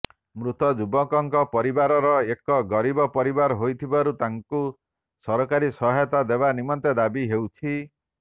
ମୃତ ଯୁବକଙ୍କ ପରିବାର ଏକ ଗରୀବ ପରିବାର ହୋଇଥିବାରୁ ତାଙ୍କୁ ସରକାରୀ ସହାୟତା ଦେବା ନିମନ୍ତେ ଦାବି ହେଉଛି